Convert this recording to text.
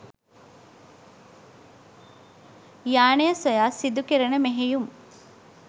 යානය සොයා සිදු කෙරෙන මෙහෙයුම්